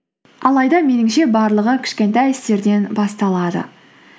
алайда меніңше барлығы кішкентай істерден басталады